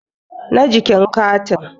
na jikin carin